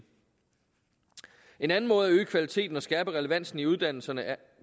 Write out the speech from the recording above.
en anden måde at øge kvaliteten og skærpe relevansen i uddannelserne